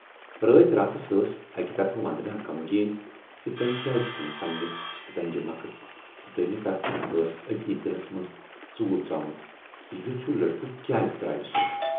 رٲتۍ راتس ٲس اکہِ طرفہٕ وندنا غمگیٖن زِ تمٔۍ کیازِ ژھُنۍ پنٕنہِ زنگہِ مکھٕژ تہٕ دویِمہٕ طرفہٕ ٲس اَتی دِلس منز ژوٗر ژامُت زِ یُتھ ہیوٗ لڑکہٕ کیازِ تراوِ سۅ۔